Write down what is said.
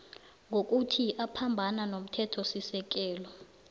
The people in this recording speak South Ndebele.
ngokuthi uphambana nomthethosisekelo